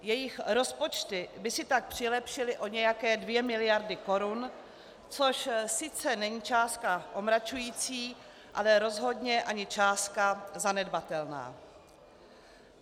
Jejich rozpočty by si tak přilepšily o nějaké dvě miliardy korun, což sice není částka omračující, ale rozhodně ani částka zanedbatelná.